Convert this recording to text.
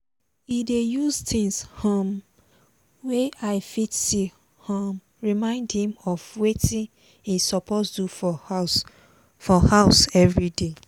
e dey use things um wey eye fit see um remind himself of watin e suppose do for house for house everyday